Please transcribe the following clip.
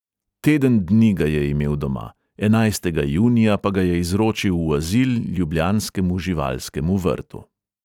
Teden dni ga je imel doma, enajstega junija pa ga je izročil v azil ljubljanskemu živalskemu vrtu.